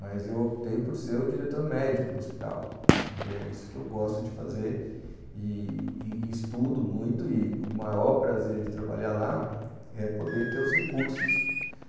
mas eu optei por ser o diretor médico do hospital e é isso que eu gosto de fazer e e e estudo muito e o maior prazer de trabalhar lá é poder ter os recursos